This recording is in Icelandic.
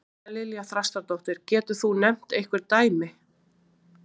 María Lilja Þrastardóttir: Getur þú nefnt einhver dæmi?